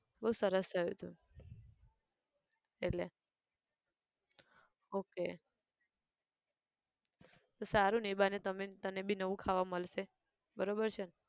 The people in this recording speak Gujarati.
બઉ સરસ થયું હતું, એટલે okay તો સારું ને એ બહાને તમે તને બી નવું ખાવાનું મલશે, બરોબર છે ન